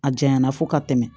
A janya na fo ka tɛmɛ